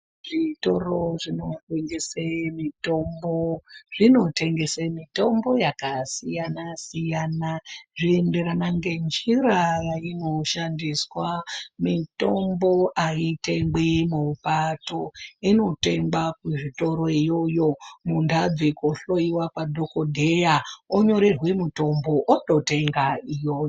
Zvitoro zvinotengese mitombo, zvinotengese mitombo yakasiyana siyana, zviyenderana ngenjira yayinoshandiswa. Mitombo ayitengwi mubato, inotengwa kuzvitoroyoyo mundau dzekuhloyiwa kwadhokodheya, onyoregwe mutombo ototenga iyoyo.